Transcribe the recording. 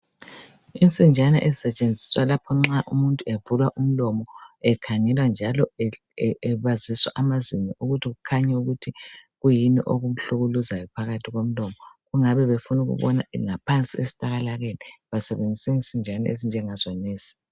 Insinjana ezisetshenziswa lapha nxa umuntu evulwa umlomo ekhangelwa njalo ebaziswa amazinyo ukuthi kukhanye ukuthi kuyini okumhlukuluzayo phakathi komlomo. Ingabe befuna ukubona ngaphansi esilakalakeni basebenziswa insinjana ezinga zonezi.